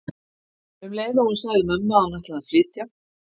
Um leið og hún sagði mömmu að hún ætlaði að flytja.